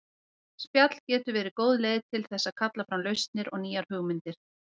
Spjall getur verið góð leið til þess að kalla fram lausnir og nýjar hugmyndir.